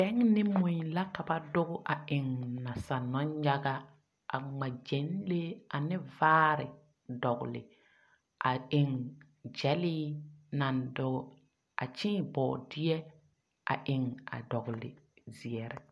Bɛn ne mui la ka ba doge a eŋ nasaale nɔnyaga, a ŋmaa gyɛnlee ane vaare dɔgle, a eŋ gyɛlee naŋ doge, a kyeeŋ bɔɔdeɛ a eŋ a dɔgle zeɛre. 13417